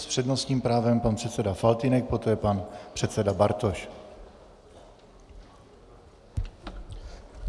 S přednostním právem pan předseda Faltýnek, poté pan předseda Bartoš.